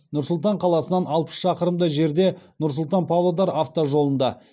нұр сұлтан қаласынан алпыс шақырымдай жерде нұр сұлтан павлодар автожолында